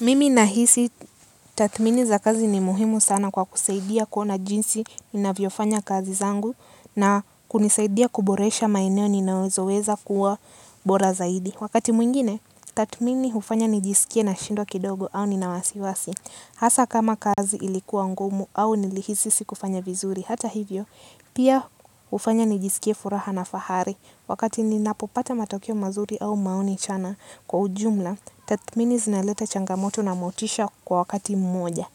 Mimi nahisi tathmini za kazi ni muhimu sana kwa kusaidia kuona jinsi inavyo fanya kazi zangu na kunisaidia kuboresha maeneo ninawezo weza kuwa bora zaidi. Wakati mwingine tatmini ufanya nijiskie nashindwa kidogo au nina wasiwasi. Hasa kama kazi ilikuwa ngumu au nilihisi sikufanya vizuri hata hivyo pia ufanya nijiskie furaha na fahari. Wakati ninapopata matokeo mazuri au maoni chana kwa ujumla, tatmini zinaleta changamoto na motisha kwa wakati mmoja.